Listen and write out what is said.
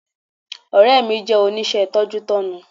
Ọ̀rẹ́ mi jẹ́ oníṣẹ́ tọ́jútọ́nu